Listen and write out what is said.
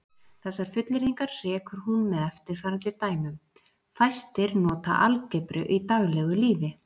Þessar fullyrðingar hrekur hún með eftirfarandi dæmum: Fæstir nota algebru í daglegu lífi.